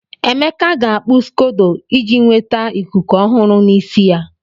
Emeka ga-akpu scodo iji nweta ikuku ọhụrụ n'isi ya.